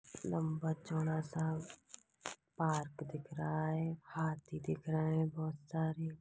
लंबा-चौड़ा सा पार्क दिख रहा है हाथी दिख रहे हैं बहुत सारे।